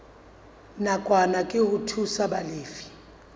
nakwana ke ho thusa balefi